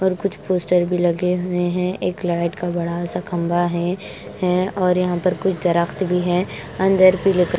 और कुछ पोस्टर भी लगे हुए हैं एक लाइट का बड़ा सा खंभा है है और यहां पर कुछ दरखत भी हैं अंदर पीले कलर --